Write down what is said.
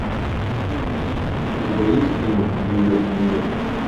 у тебя есть кино нью йорк нью йорк